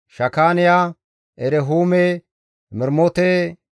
Shakaaniya, Erehuume, Mermote,